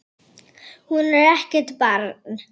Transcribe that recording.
Hún er ekkert barn.